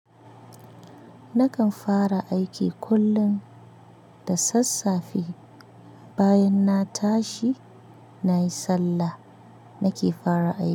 Nakan fara aiki kullum da sassafe, bayan na tashi nayi sallah nake fara aiki.